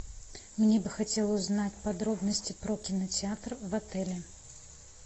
мне бы хотелось узнать подробности про кинотеатр в отеле